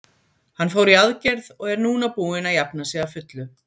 Hann fór í aðgerð og er núna búinn að jafna sig að fullu.